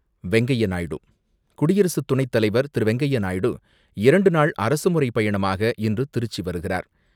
வெங்கைய நாயுடு குடியரசுத்துணைத் தலைவர் திரு.வெங்கய்ய நாயுடு இரண்டு நாள் அரசு முறை பயணமாக இன்று திருச்சி வருகிறார்.